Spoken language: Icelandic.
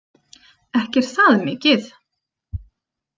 Ekki er það mikið!